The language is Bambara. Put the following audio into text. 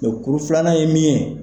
kuru filanan ye min ye.